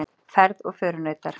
Ferð og förunautar.